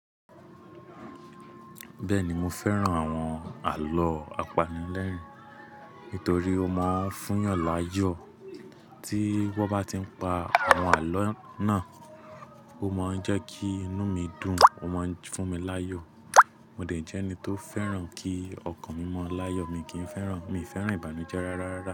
Bẹ́ẹ̀ni mo fẹ́ràn àwọn àlọ́ apanilẹ́rìn-ín torí ó máa ń fún yàn láyọ̀. Tí wọ́n bá ti ń pa àwọn àlọ́ náà, ó máa ń jẹ́ kí inú mi dùn, ó máa ń fún mi láyọ̀. Mo dẹ̀ jẹ́ ẹni tó fẹ́ràn kí ọkàn mí mọ́ láyọ̀, mi kì í fẹ́ràn, mi fẹ́ràn ìbànújẹ́ rárá.